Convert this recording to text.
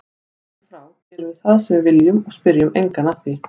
Héðan í frá gerum við það sem við viljum og spyrjum engan að því.